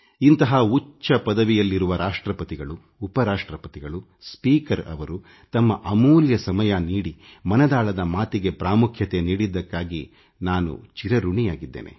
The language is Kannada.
ಇಂತಹ ಉನ್ನತ ಪದವಿಯಲ್ಲಿರುವ ರಾಷ್ಟ್ರಪತಿಯವರು ಉಪ ರಾಷ್ಟ್ರಪತಿಯವರು ಲೋಕಸಭಾಧ್ಯಕ್ಷರು ತಮ್ಮ ಅಮೂಲ್ಯ ಸಮಯ ನೀಡಿ ಮನದಾಳದ ಮಾತಿಗೆ ಪ್ರಾಮುಖ್ಯತೆ ನೀಡಿದ್ದಕ್ಕಾಗಿ ನಾನು ಆಭಾರಿಯಾಗಿದ್ದೇನೆ